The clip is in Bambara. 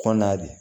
Kɔnɔna de